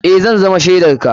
Eh, za zama shaidar ka.